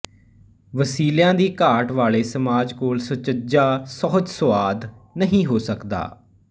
ਵਸੀਲਿਆਂ ਦੀ ਘਾਟ ਵਾਲੇਂਂ ਸਮਾਜ ਕੋਲ ਸੁਚੱਜਾ ਸੁਹਜਸੁਆਦ ਨਹੀਂ ਹੋ ਸਕਦਾ